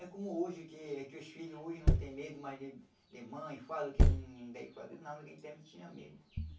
É como hoje, que que os filhos hoje não tem medo mais de de mãe, faz o que não deve fazer, não, naquele tempo tinha medo.